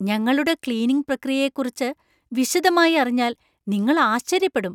ഞങ്ങളുടെ ക്ലീനിംഗ് പ്രക്രിയയെക്കുറിച്ച് വിശദമായി അറിഞ്ഞാൽ നിങ്ങള്‍ ആശ്ചര്യപ്പെടും .